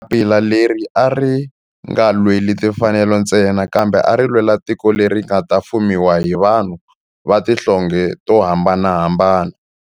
Papila leri a ri nga lweli timfanelo ntsena kambe ari lwela tiko leri nga ta fumiwa hi vanhu va tihlonge to hambanahambana.